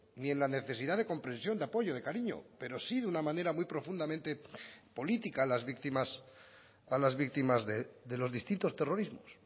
ni en la necesidad de comprensión de apoyo de cariño pero sí de una manera muy profundamente política a las víctimas a las víctimas de los distintos terrorismos